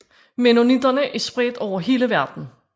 Mennonitterne er spredt over hele verden